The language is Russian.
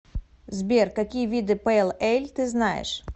сбер какие виды пэйл эль ты знаешь